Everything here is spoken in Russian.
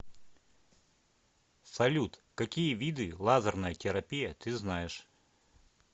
салют какие виды лазерная терапия ты знаешь